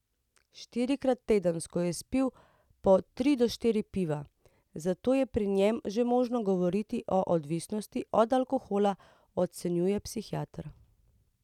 Štirikrat tedensko je spil po tri do štiri piva, zato je pri njem že možno govoriti o odvisnosti od alkohola, ocenjuje psihiater.